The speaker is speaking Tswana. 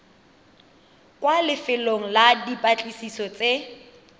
kwa lefelong la dipatlisiso tse